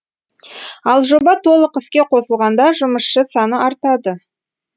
ал жоба толық іске қосылғанда жұмысшы саны артады